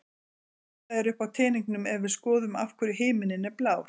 Svipað er uppi á teningnum ef við skoðum af hverju himinninn er blár?